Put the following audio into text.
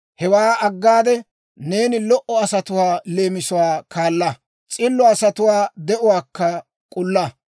Hewaa aggade, neeni lo"o asatuwaa leemisuwaa kaala; s'illo asatuwaa de'uwaakka k'ulla.